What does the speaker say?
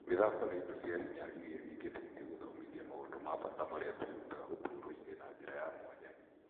Mithako ni indo cia hinya iria ingiteithia gũthomithia maũndũ ma bata maria tuirutaga ũtũroini na njira ya mwanya.